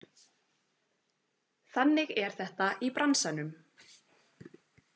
Þannig er þetta í bransanum